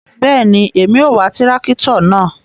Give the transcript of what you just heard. Bẹẹni, Èmí o wà tìràkitọ náà